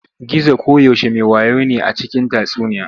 Gizo koyaushe me wayo ne a cikin tatsuniya.